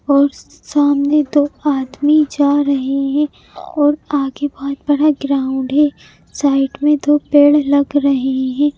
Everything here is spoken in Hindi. और सामने दो आदमी जा रहे हैं और आगे बहुत बड़ा ग्राउंड है साइड में दो पेड़ लग रही है।